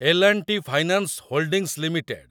L and T finance holdings limited